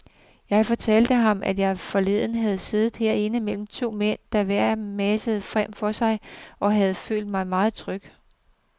Jeg fortalte ham, at jeg forleden havde siddet herinde mellem to mænd, der hver messede frem for sig, og havde følt mig meget tryg.